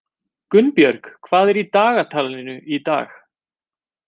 Gunnbjörn, hvað er í dagatalinu í dag?